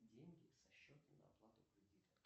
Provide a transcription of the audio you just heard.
деньги со счета на оплату кредита